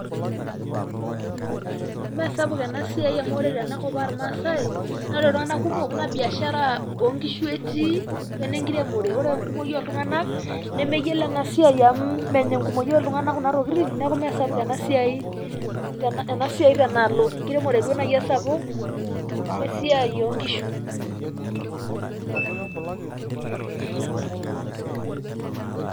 Meesapuk ena siai amu ore tenakop ormaasai, naa ore iltung'anak kumok naa biashara o nkishu etii wo ene nkiremore. Ore enkumoi ooltung'anak, nemeyiolo ena siai amu menya enkumoi ooltung'anak kuna tokitin neeku meesapuk ena tena alo. Enkiremore duo esapuk we siai oo nkishu.